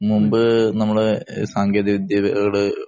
മുമ്പ് നമ്മടെ സാങ്കേതിക വിദ്യയോട്